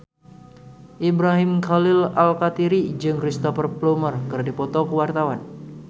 Ibrahim Khalil Alkatiri jeung Cristhoper Plumer keur dipoto ku wartawan